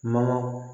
Mana